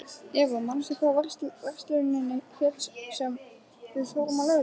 Eva, manstu hvað verslunin hét sem við fórum í á laugardaginn?